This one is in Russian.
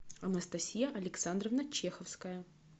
анастасия александровна чеховская